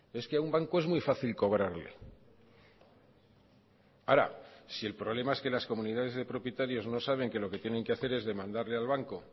es que a un banco es muy fácil cobrarle ahora si el problema es que las comunidades de propietarios no saben que lo que tienen que hacer es demandarle al banco